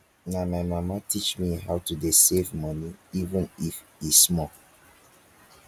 na my mama teach me how to dey save money even if e small